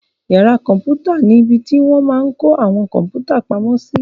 Yàrá kọ̀mpútà ni ibi tí wọ́n máa n kó àwọn kọ̀mpútà pamo sí